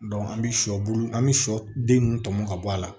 an bi sɔ bulu an mi shɔ den ninnu tɔmɔ ka bɔ a la